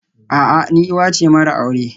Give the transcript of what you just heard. A'a, ni uwa ce mara aure